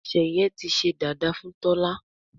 sheye tí sé dada fún Tola.